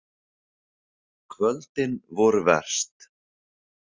Kvöldin voru verst.